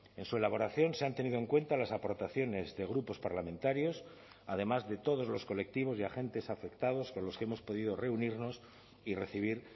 en su elaboración se han tenido en cuenta las aportaciones de grupos parlamentarios además de todos los colectivos y agentes afectados con los que hemos podido reunirnos y recibir